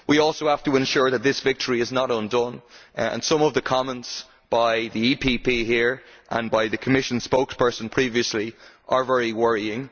We also have to ensure that this victory is not undone and some of the comments by the EPP here and by the Commission's spokesperson previously, are very worrying.